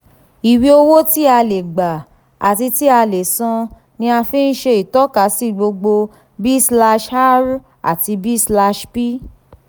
iwe owo ti a le gba ati ti a le san ni a fi ṣe itọkasi gbogbo b slash r ati b slash p